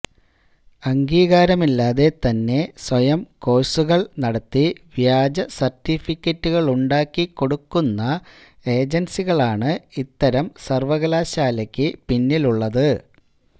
അംഗീകാരമില്ലാതെ തന്നെ സ്വയം കോഴ്സുകള് നടത്തി വ്യാജസര്ട്ടിഫിക്കറ്റുകളുണ്ടാക്കിക്കൊടുക്കുന്ന ഏജന്സികളാണ് ഇത്തരം സര്വകലാശാലയ്ക്കു പിന്നിലുള്ളത്